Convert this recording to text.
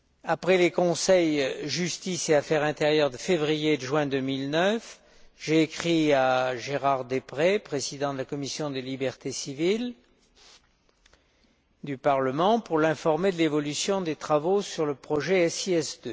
Après les Conseils Justice et affaires intérieures de février et de juin 2009, j'avais écrit à Gérard Deprez, président de la commission des libertés civiles du Parlement, pour l'informer de l'évolution des travaux sur le projet SIS II.